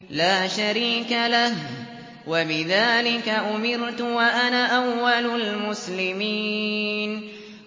لَا شَرِيكَ لَهُ ۖ وَبِذَٰلِكَ أُمِرْتُ وَأَنَا أَوَّلُ الْمُسْلِمِينَ